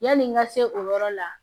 Yani n ka se o yɔrɔ la